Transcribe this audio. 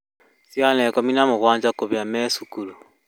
Ciana ikũmi na mũgwanja kũhia marĩ cukuru